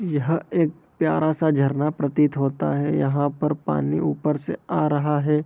यह एक प्यारा सा झरना प्रतीत होता है यहां पर पानी ऊपर से आ रहा है।